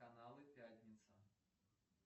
каналы пятница